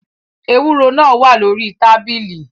Ewúro náà wá lórí tábìlì.